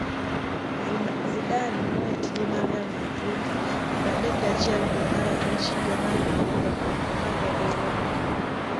Zidane noweyo tije mag Real Madrid 31 dwe mar abich higa mar 2018. tiende.